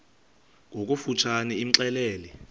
ngokofu tshane imxelele